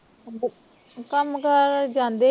ਕੰਮ ਕਾਰ ਜਾਂਦੇ ਈ